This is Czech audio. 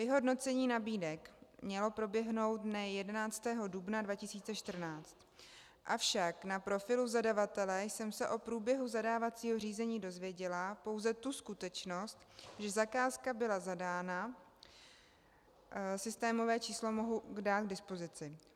Vyhodnocení nabídek mělo proběhnout dne 11. dubna 2014, avšak na profilu zadavatele jsem se o průběhu zadávacího řízení dozvěděla pouze tu skutečnost, že zakázka byla zadána, systémové číslo mohu dát k dispozici.